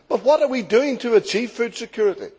What are we doing to achieve food security?